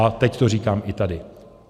A teď to říkám i tady.